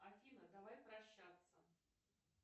афина давай прощаться